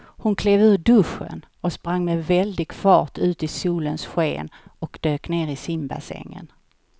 Hon klev ur duschen, sprang med väldig fart ut i solens sken och dök ner i simbassängen.